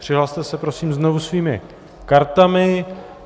Přihlaste se prosím znovu svými kartami.